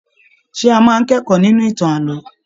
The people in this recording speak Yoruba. Ṣe a máa n kẹ̀kọ́ nínú ìtàn ààlọ́?